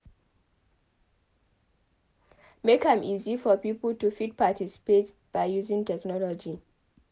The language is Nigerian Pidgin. Make am easy for pipo to fit participate by using technology